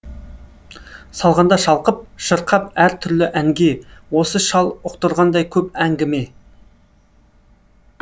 салғанда шалқып шырқап әр түрлі әнге осы шал ұқтырғандай көп әңгіме